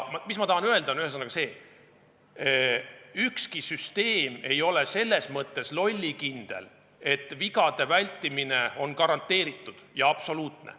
Mis ma tahan öelda, on see: ükski süsteem ei ole selles mõttes lollikindel, et vigade vältimine on garanteeritud ja absoluutne.